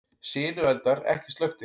Sinueldar ekki slökktir